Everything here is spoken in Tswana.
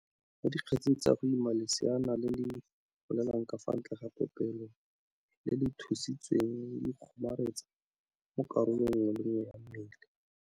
"Mo dikgetseng tsa go ima leseana le le golelang ka fa ntle ga popelo, lee le le thuthusitsweng le ikgomaretsa mo karolong nngwe le nngwe ya mmele."